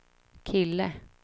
kille